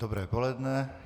Dobré poledne.